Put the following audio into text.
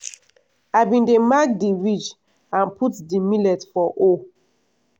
i bin dey mark di ridge and put the millet for hole.